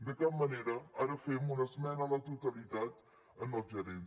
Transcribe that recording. de cap manera ara fem una es·mena a la totalitat als gerents